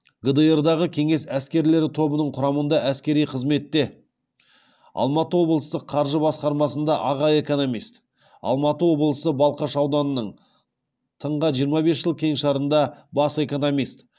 гдр дағы кеңес әскерлері тобының құрамында әскери қызметте алматы облыстық қаржы басқармасында аға экономист алматы облысы балқаш ауданының тыңға жиырма бес жыл кеңшарында бас экономист